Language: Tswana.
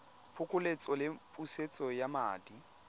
phokoletso le pusetso ya madi